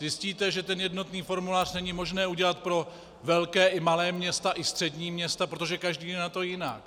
Zjistíte, že ten jednotný formulář není možné udělat pro velká i malá města i střední města, protože každé je na tom jinak.